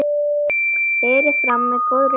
Berið fram með góðri sultu.